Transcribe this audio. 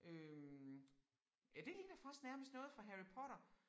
Øh ja det ligner faktisk nærmest noget fra Harry Potter